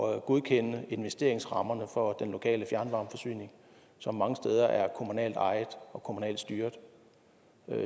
at godkende investeringsrammerne for den lokale fjernvarmeforsyning som mange steder er kommunalt ejet og kommunalt styret